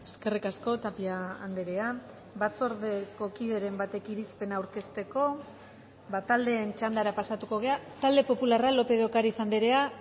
eskerrik asko tapia andrea batzordeko kideren batek irizpena aurkezteko ba taldeen txandara pasatuko gara talde popularra lópez de ocariz andrea